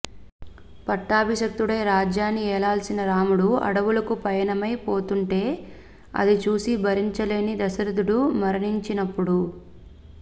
పట్టాబిషిక్తుడై రాజ్యాన్ని ఏ లాల్సిన రాముడు అడవులకు పయనమై పోతుంటే అది చూసి భరించలేని దశరధుడు మరణించినప్పుడు